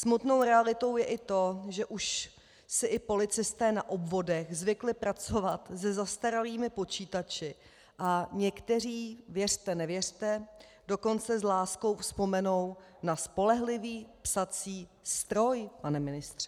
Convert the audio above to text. Smutnou realitou je i to, že si už i policisté na obvodech zvykli pracovat se zastaralými počítači a někteří - věřte nevěřte - dokonce s láskou vzpomenou na spolehlivý psací stroj, pane ministře.